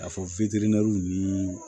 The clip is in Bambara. Ka fɔ ni